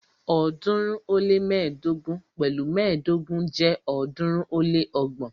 ọ̀ọ́dúnrún ó lé mẹ́ẹ̀ẹ́dógún pẹ̀lu mẹ́ẹ̀ẹ́dógún jẹ́ ọ̀ọ́dúnrún ó lé ọgbọ̀n.